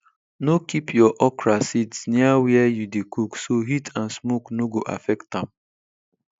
no keep your okra seeds near where you dey cook so heat and smoke no go affect am